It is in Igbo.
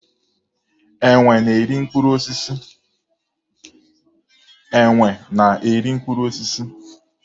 Enwe na-eri mkpụrụ osisi.